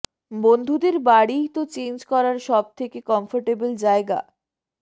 বন্ধুদের বাড়িই তো চেঞ্জ করার সব থেকে কমফর্টেবল জায়গা